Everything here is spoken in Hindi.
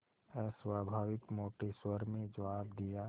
अस्वाभाविक मोटे स्वर में जवाब दिया